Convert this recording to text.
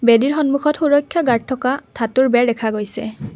বেদীৰ সন্মুখত সুৰক্ষা গাৰ্ড থকা ধাতুৰ বেৰ দেখা গৈছে।